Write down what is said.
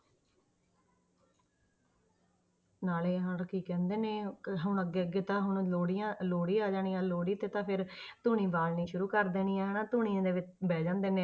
ਨਾਲੇ ਆਹ ਕੀ ਕਹਿੰਦੇ ਨੇ ਕਿ ਹੁਣ ਅੱਗੇ ਅੱਗੇ ਤਾਂ ਹੁਣ ਲੋਹੜੀਆਂ ਲੋਹੜੀ ਆ ਜਾਣੀ ਆਂ ਲੋਹੜੀ ਤੇ ਤਾਂ ਫਿਰ ਧੂਣੀ ਬਾਲਣੀ ਸ਼ੁਰੂ ਕਰ ਦੇਣੀ ਹੈ ਹਨਾ ਧੂਣੀਆਂ ਦੇ ਵਿੱਚ ਬਹਿ ਜਾਂਦੇ ਨੇ।